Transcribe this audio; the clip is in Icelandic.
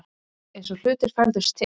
Eins og hlutir færðust til.